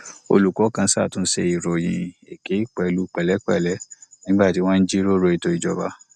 olùkó kan ṣàtúnṣe ìròyìn èké pẹlú pèlépèlé nígbà tí wọn ń jíròrò ètò ìjọba